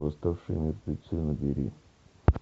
восставшие мертвецы набери